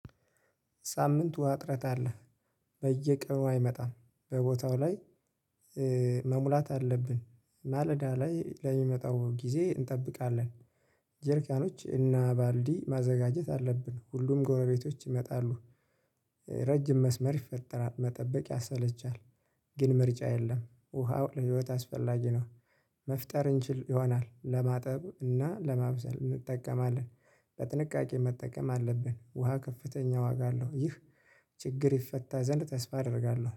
ሳምንት ዉሃ አጥረት አለ። በየቀኑ አይመጣም በቦታው ላይ። መሙላት አለብን ማለዳ ላይ ለሚመጣው ጊዜ እንጠብቃለን። ጀርካኖች እና ባልዲ ማዘጋጀት አለብን ሁሉም ጎረቤቶች ይመጣሉ። ረጅም መስመር ይፈጠራል መጠበቅ ያሰለቻል። ግን ምርጫ የለም ውሃው ለህይወት አስፈላጊ ነው። መፍጠር እንችል ይሆናል ለማጠብ እና ለማብሰል እንጠቀማለን። በጥንቃቄ መጠቀም አለብን ውሃ ከፍተኛ ዋጋ አለው ይህ። ችግር ይፈታ ዘንድ ተስፋ አደርጋለሁ